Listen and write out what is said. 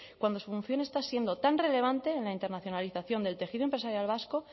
cuando su función está siendo tan relevante en la internacionalización del tejido empresarial vasco